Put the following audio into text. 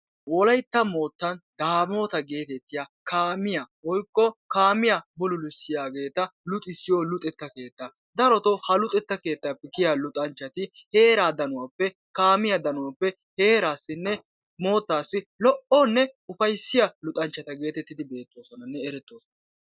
Wolaytta moottan daamota geetetiya kaamiya woykko kaamiya bululisiyageta luxisiyo luxetta keettaa. Daroto ha luxettappe kiyiya luxanchati heera danuwappe kaamiya danuwappe heerasinne moottasi lo'onee ufayssiya luxanchchata geetetidinne erettidi beettosonanne eretosona.